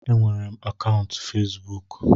Enwere m akaụntụ Fesbụụk